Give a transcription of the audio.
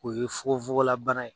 O ye fugofugola bana ye.